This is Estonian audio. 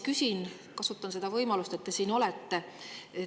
Aga ma kasutan seda võimalust, et te siin olete, ja küsin.